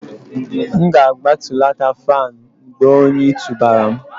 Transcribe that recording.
M ga-agbatulata fan mgbe oyi tụbara m